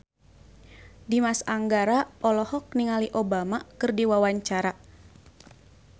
Dimas Anggara olohok ningali Obama keur diwawancara